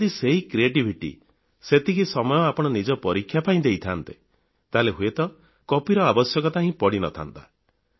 ଯଦି ସେହି କ୍ରିଏଟିଭିଟି ବା ପ୍ରତ୍ୟୁତ୍ପନ୍ନମତିକୁ ସେତିକି ସମୟ ଆପଣ ନିଜ ପରୀକ୍ଷା ପାଇଁ ଦେଇଥାନ୍ତେ ତାହେଲେ ହୁଏତ କପିର ଆବଶ୍ୟକତା ହିଁ ପଡ଼ିନଥାନ୍ତା